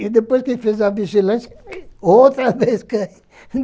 E depois que ele fez a vigilância, outra vez caiu.